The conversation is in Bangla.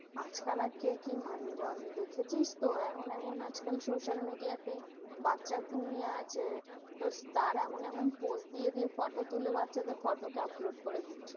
আজকাল আর কে কি মানে বল? দেখেছিস তো এমন এমন আজকাল social media তে, বাচ্চা ঘুমিয়ে আছে তো তার এমন এমন pose দিয়ে দিয়ে photo তুলে বাচ্চাদের photo কে upload করে দিচ্ছে।